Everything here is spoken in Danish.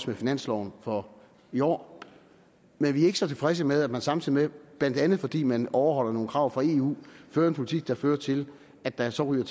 med finansloven for i år men vi er ikke så tilfredse med at man samtidig med blandt andet fordi man overholder nogle krav fra eu fører en politik der fører til at der så ryger